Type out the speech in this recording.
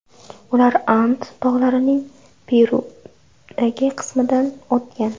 Ular And tog‘larining Perudagi qismidan o‘tgan.